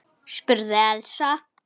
spurði Elsa.